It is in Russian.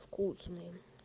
вкусным